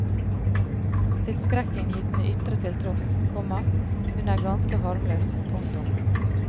Sitt skrekkinngytende ytre til tross, komma hun er ganske harmløs. punktum